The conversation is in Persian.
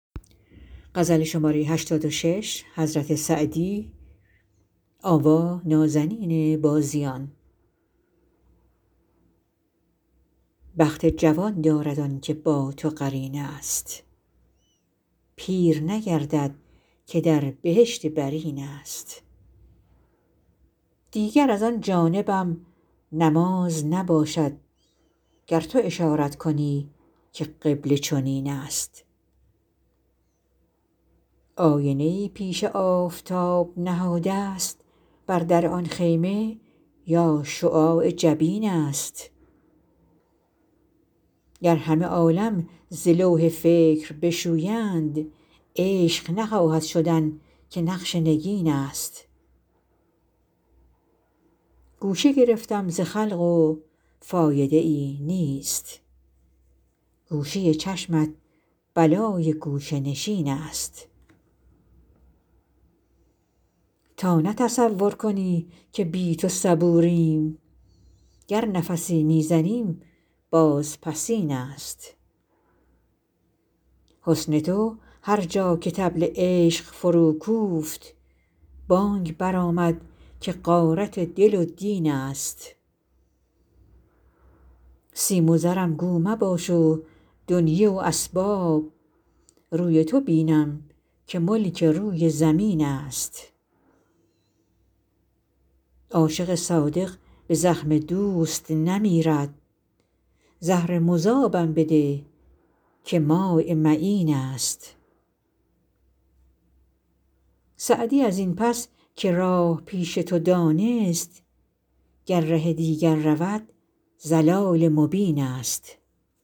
بخت جوان دارد آن که با تو قرین است پیر نگردد که در بهشت برین است دیگر از آن جانبم نماز نباشد گر تو اشارت کنی که قبله چنین است آینه ای پیش آفتاب نهادست بر در آن خیمه یا شعاع جبین است گر همه عالم ز لوح فکر بشویند عشق نخواهد شدن که نقش نگین است گوشه گرفتم ز خلق و فایده ای نیست گوشه چشمت بلای گوشه نشین است تا نه تصور کنی که بی تو صبوریم گر نفسی می زنیم بازپسین است حسن تو هر جا که طبل عشق فروکوفت بانگ برآمد که غارت دل و دین است سیم و زرم گو مباش و دنیی و اسباب روی تو بینم که ملک روی زمین است عاشق صادق به زخم دوست نمیرد زهر مذابم بده که ماء معین است سعدی از این پس که راه پیش تو دانست گر ره دیگر رود ضلال مبین است